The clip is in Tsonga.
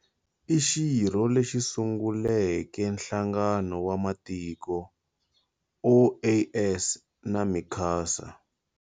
I xirho lexi sunguleke Nhlangano wa Matiko, OAS, na Mercosur.